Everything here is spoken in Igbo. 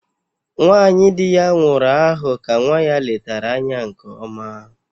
Nwanyị dị ya nwụrụ ahụ ka nwa ya letara anya nke ọma